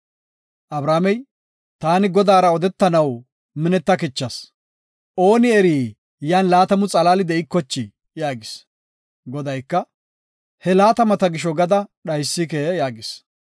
Abrahaamey, “Taani Godaara odetanaw minetakichas; ooni eri yan laatamu xalaali de7ikochi” yaagis. Godayka, “He laatamata gisho gada dhaysike” yaagis.